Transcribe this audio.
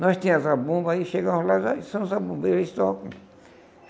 Nós tinha a zabumba aí, chegamos lá, aí são os zabumbeiros, eles tocam.